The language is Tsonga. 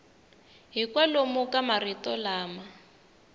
hi kwalomu ka marito lama